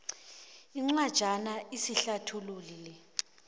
incwajana esihlathululi le